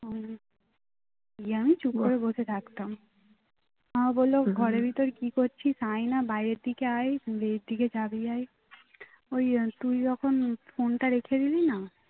গিয়ে আমি চুপ করে বসে থাকতাম মা বললো ঘরের ভেতর কি করছিস আয়না বাইরের দিকে আয় ভুঁয়ের দিকে জাবি আয় ওই তুই যখন ফোন তা রেখে দিলি না